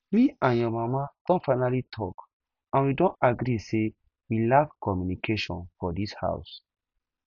me and your mama don finally talk and we don agree say we lack communication for dis house